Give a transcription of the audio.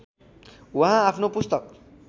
उहाँ आफ्नो पुस्तक